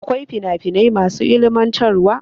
Akwai fina finai masu ilimantarwa.